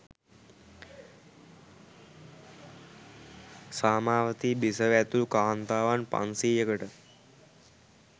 සාමාවතී බිසව ඇතුළු කාන්තාවන් පන්සියයකට